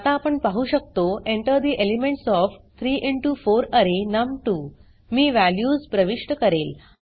आता आपण पाहु शकतो enter the elements of 3 into 4 अरे नम2 मी वॅल्यूज प्रविष्ट करेल